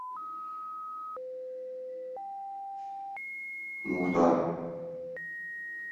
мухтар